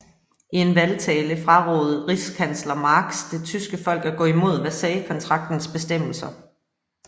I en valgtale frarådede rigskansler Marx det tyske folk at gå imod Versaillestraktatens bestemmelser